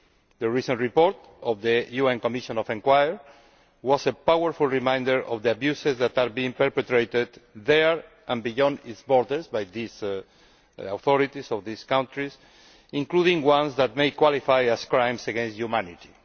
The recent report by the UN Commission of Inquiry was a powerful reminder of the abuses that are being perpetrated there, and beyond its borders, by the authorities of this country, including ones that may qualify as crimes against humanity.